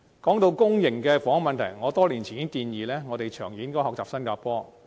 說到公營房屋的問題，我多年前已提出建議，長遠而言應效法新加坡。